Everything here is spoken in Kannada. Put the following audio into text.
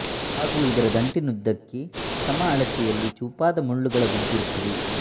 ಹಾಗೂ ಇದರ ದಂಟಿನುದ್ದಕ್ಕೆ ಸಮ ಅಳತೆಯಲ್ಲಿ ಚೂಪಾದ ಮುಳ್ಳುಗಳ ಗುಂಪಿರುತ್ತದೆ